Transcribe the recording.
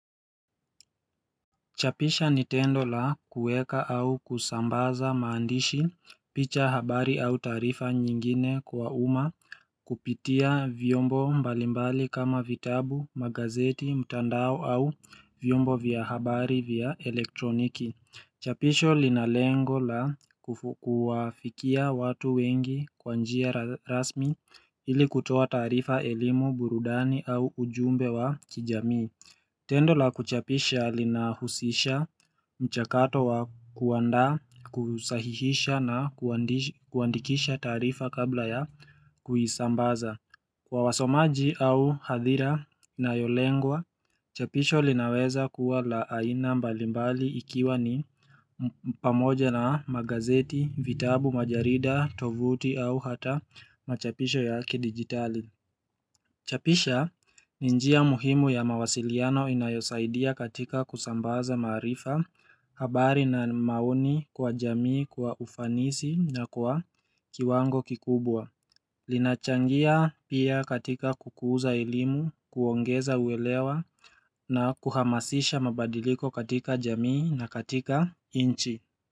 Chapisha ni tendo la kueka au kusambaza maandishi, picha habari au taarifa nyingine kwa umma kupitia vyombo mbalimbali kama vitabu, magazeti, mtandao au vyombo vya habari vya elektroniki Chapisho lina lengo la kuwafikia watu wengi kwa njia rasmi ili kutoa taarifa elimu burudani au ujumbe wa kijamii Tendo la kuchapisha linahusisha mchakato wa kuandaa kusahihisha na kuandikisha taarifa kabla ya kuisambaza. Kwa wasomaji au hadhira inayolengwa, chapisho linaweza kuwa la aina mbalimbali ikiwa ni pamoja na magazeti, vitabu, majarida, tovuti au hata machapisho ya kidigitali. Chapisha ni njia muhimu ya mawasiliano inayosaidia katika kusambaza maarifa habari na maoni kwa jamii kwa ufanisi na kwa kiwango kikubwa. Linachangia pia katika kukuza elimu, kuongeza uelewa na kuhamasisha mabadiliko katika jamii na katika inchi.